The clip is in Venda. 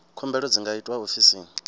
khumbelo dzi nga itwa ofisini